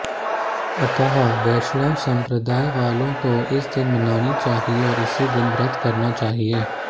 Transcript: अतः वैष्णव संप्रदाय वालों को इस दिन मनानी चाहिए और इसी दिन व्रत करना चाहिए